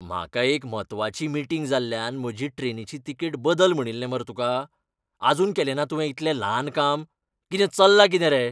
म्हाका एक म्हत्वाची मीटिंग जाल्ल्यान म्हजी ट्रेनीची तिकेट बदल म्हणिल्लें मरे तुका. आजून केलें ना तुवें इतलें ल्हान काम. कितें, चल्ला कितें रे?.